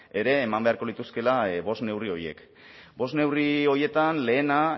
ere eman beharko lituzkeela bost neurri horiek bost neurri horietan lehena